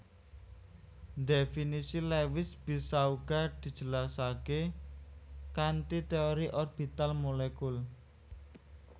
Dhéfinisi Lewis bisa uga dijelasaké kanthi téori orbital molekul